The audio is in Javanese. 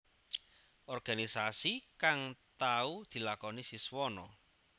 Organisasi kang tau dilakoni Siswono